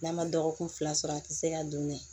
N'a ma dɔgɔkun fila sɔrɔ a ti se ka don dɛ